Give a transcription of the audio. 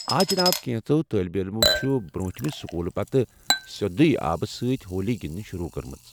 آ جِناب ، کٮ۪نٛژو طالب علمو چُھ بر٘ونٹھٕے سكوٗلہٕ پتہٕ سیدُیے آبہٕ سۭتۍ ہولی گِندٕنۍ شروع كٔرمٕژ ۔